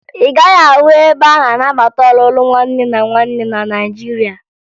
Ị gaghị ahụ ebe a na-anabata ọlụlụ nwanne na nwanne na Naịjirịa